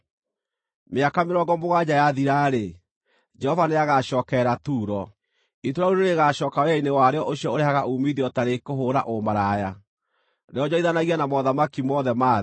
Mĩaka mĩrongo mũgwanja yathira-rĩ, Jehova nĩagacookerera Turo. Itũũra rĩu nĩrĩgacooka wĩra-inĩ warĩo ũcio ũrehaga uumithio ta rĩkũhũũra ũmaraya, rĩonjorithanagie na mothamaki mothe ma thĩ.